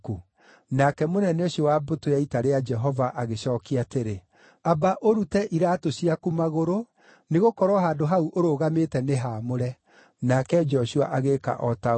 Nake mũnene ũcio wa mbũtũ ya ita rĩa Jehova agĩcookia atĩrĩ, “Amba ũrute iraatũ ciaku magũrũ, nĩgũkorwo handũ hau ũrũgamĩte nĩ haamũre.” Nake Joshua agĩĩka o ta ũguo.